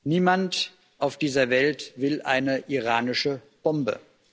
Niemand auf dieser Welt will eine iranische Bombe.